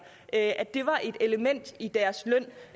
at det var et element i deres løn